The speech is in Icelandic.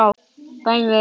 Dæmin eru mörg.